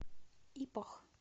ипох